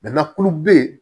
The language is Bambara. kulu be yen